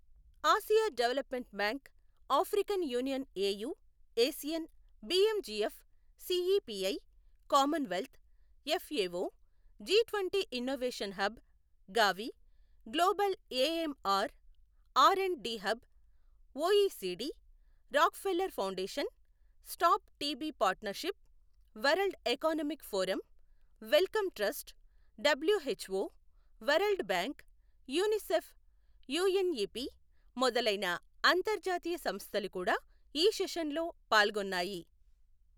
Asia Development Bank, African Union AU, ASEAN, BMGF, CEPI, Commonwealth, FAO, G twenty innovation hub, Gavi, global AMR R and D hub, OECD, Rockefeller Foundation, Stop TB Partnership, World Economic Forum, Wellcome Trust, WHO, World Bank, UNICEF, UNEP మొదలైన అంతర్జాతీయ సంస్థలు కూడా ఈ సెషన్లో పాల్గొన్నాయి.